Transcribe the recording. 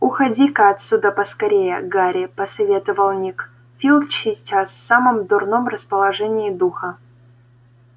уходи-ка отсюда поскорее гарри посоветовал ник филч сейчас в самом дурном расположении духа